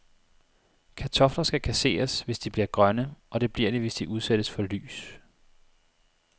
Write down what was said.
Kartofler skal kasseres, hvis de bliver grønne, og det bliver de, hvis de udsættes for lys.